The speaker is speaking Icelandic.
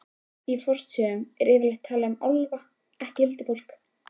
Í fornsögunum er yfirleitt talað um álfa, ekki huldufólk.